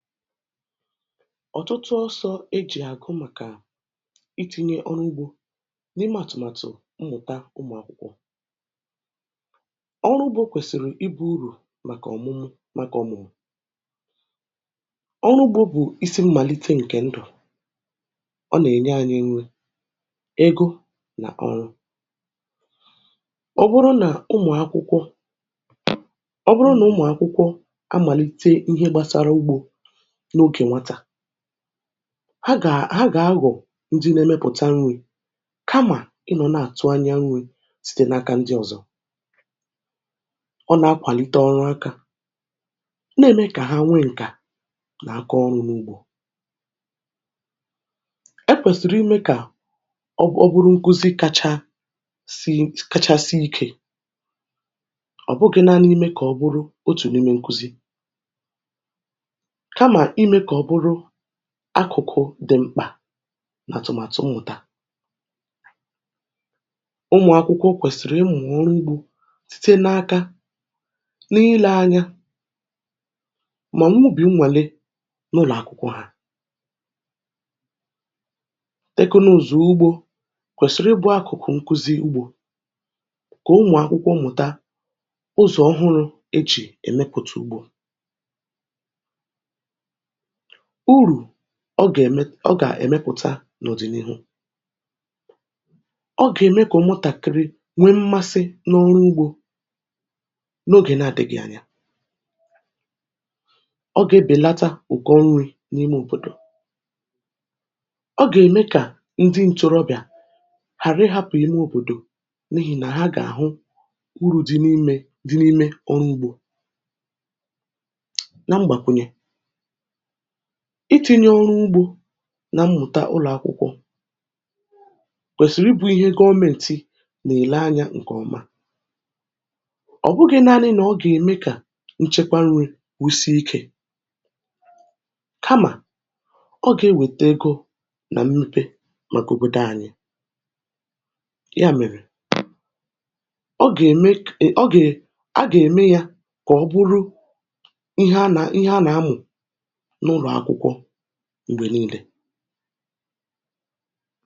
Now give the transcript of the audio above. "Ọ̀tụtụ ọsọ̇ ejì àgụ màkà itinye ọrụ ugbȯ n’ime àtụ̀màtụ̀ mmụ̀ta ụmụ̀ akwụkwọ, ọrụ ugbȯ, kwèsìrì ibu̇ urù màkà ọ̀mụmụ̀. Màkà ọ̀mụ̀, ọrụ ugbȯ bụ̀ isi mmàlite ǹkè ndụ̀; ọ nà-ènye anyị nwe ego nà ọrụ. Ọ bụrụ nà ụmụ̀ akwụkwọ amàlite ihe gbasara ugbȯ, ha gà-agọ̀ ndị nà-èmepụ̀ta m̀gbè, kamà ị nọ̀ na-àtụ anya m̀gbè site n’aka ndị ọ̀zọ. Ọ nà-akwàlite ọrụ akà, na-ème kà ha nwee ǹkà nà-àkọ ọrụ̇ n’ugbȯ. E kwèsìrì imė kà ọ bụrụ bụrụ nkuzi kachasị kachasị ike; ọ̀ bụghị̇ naanị imė ka ọbụrụ otu n'ime nkụzi, kamà ime ka ọ bụrụ akụ̀kụ̀ dị̀ mkpà n’àtụ̀màtụ̀ mmụ̀ta. Ụmụ̀ akwụkwọ̀ kwèsìrì ịmụ̀ oru ugbȯ site n’aka, n’ile anya mà n’ụ̀bì nwale n’ụlọ̀ akụ̀kụ ha. Tekụ nà ụzọ̀ ugbȯ, kwèsìrì ịbụ akụ̀kụ̀ nkụzi ugbȯ, kà ụmụ̀ akwụkwọ mụ̀ta ụzọ̀ ọhụrụ̇ e jì èmepùtà ugbȯ. Ụrụ̇ ọ gà-èmepụ̀ta n’òdì n’ihu, ogà-ème kà ụmụ̀tàkịrị nwee mmasị n’ọrụ ugbȯ n’ogè na-àdịghịnyà. Ọ gà-ebèlata ụkọ ṅrị̇ n’ime òbòdò, ọ gà-ème kà ndị ǹchọrọbịà ghàra ịhȧpụ̀ ime òbòdò, n’ehì nà ha gà-àhụ uru̇ dị n’imė dị n’ime ọrụ ugbȯ. Na mgbàkwùnyè, itìnye ọrụ ugbȯ na mmụ̀ta ụlọ̀ akwụkwọ, kwèsìrì ibụ̇ ihe government nà-èle anyȧ ǹkè ọma. Ọ̀ bụghị̇ naanị nà ọ gà-ème kà nchekwa nri̇ kwusị ikė, kamà ọ gà-ewète egȯ nà mmepe mà gòbòdò anyị. Yà mèrè, ọ gà-ème aga eme ya kà ọ bụrụ ihe a nà-amụ̀ mgbè n'ulo akwụkwọ mgbè niile.